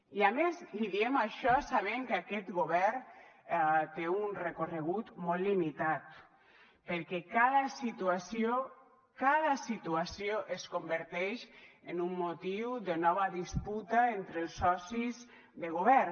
i a més li diem això sabent que aquest govern té un recorregut molt limitat perquè cada situació cada situació es converteix en un motiu de nova disputa entre els socis de govern